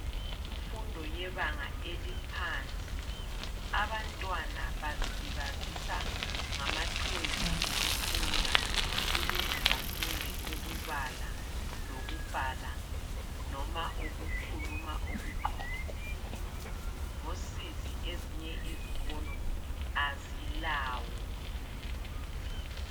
Kumfundo yebanga eliphansi, abantwana bazilibazisa ngamatoys okufunda ukuze bafunde ukubala lokubhala, noma ukukhuluma okuqondileyo. Ngosizi, ezinye izikolo azilawo.